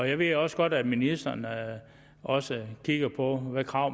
jeg ved også godt at ministeren også kigger på hvilke krav